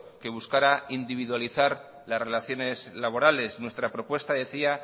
que buscara individualizar las relaciones laborales nuestra propuesta decía